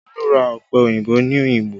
Olu ra ọpẹ òyìnbó ní Oyingbo